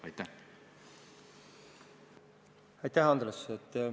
Aitäh, Andres!